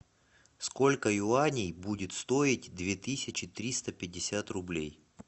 сколько юаней будет стоить две тысячи триста пятьдесят рублей